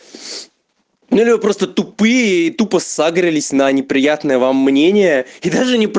я говорю просто тупые и тупо сагрились на неприятного вам мнение и даже не пр